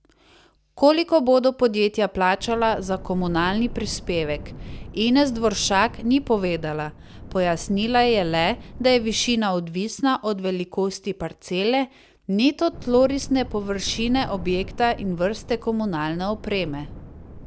Koliko bodo podjetja plačala za komunalni prispevek, Ines Dvoršak ni povedala, pojasnila je le, da je višina odvisna od velikosti parcele, neto tlorisne površine objekta in vrste komunalne opreme.